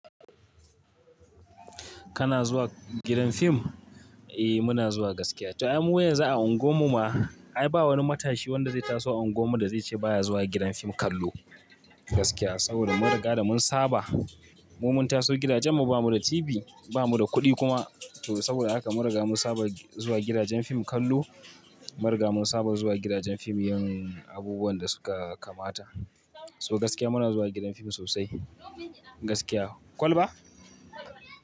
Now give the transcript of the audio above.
Kana zuwa gidan fim? Eh muna zuwa gaskiya. To, ai mu yanzu a anguwan mu ma. Ai ba wani matashi wanda zai taso anguwan mu da zai ce baya zuwa gidan fim kallo. Gaskiya saboda mun riga da mun saba. Mu mun taso gidajen mu ba mu da TV, ba mu da kuɗi kuma. To saboda haka mun riga mun saba zuwa gidajen fim kallo. Mun riga mun saba zuwa gidajen fim yin abubuwan da suka kamata. So gaskiya muna zuwa gidan fim sosai. Gaskiya. Kwul ba?